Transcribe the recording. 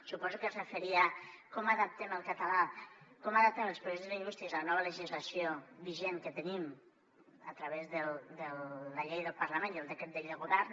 suposo que es referia a com adaptem el català com adaptem els projectes lingüístics a la nova legislació vigent que tenim a través de la llei del parlament i el decret de llei del govern